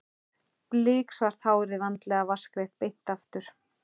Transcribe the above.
Biksvart hárið vandlega vatnsgreitt beint aftur.